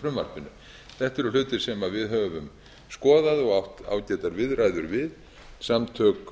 frumvarpinu þetta eru hlutir sem við höfum skoðað og átt ágætar viðræður við samtök